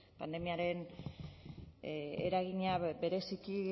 pandemiaren eragina bereziki